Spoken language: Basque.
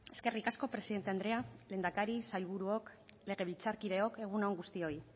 eskerrik asko presidente andrea lehendakari sailburuok legebiltzarkideok egun on guztioi